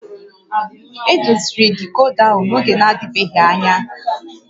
Edoziri dicoda ahụ n'oge na-adịbeghị anya